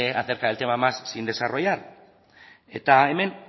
acerca del tema más sin desarrollar eta hemen